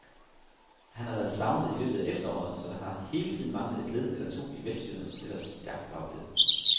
Han har været savnet i løbet af efteråret, så der har hele tiden manglet et led eller to i vestjydernes ellers stærke bagkæde.